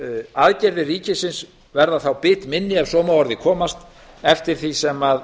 aðgerðir ríkisins verða þá bitminni ef svo má að orði komast eftir því sem